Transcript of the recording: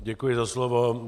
Děkuji za slovo.